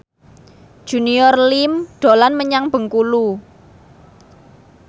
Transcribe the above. Junior Liem dolan menyang Bengkulu